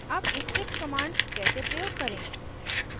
अब script commands कैसे प्रयोग करें: